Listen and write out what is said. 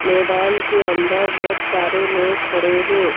मैदान के अंदर बहुत सारे लोग खड़े हैं।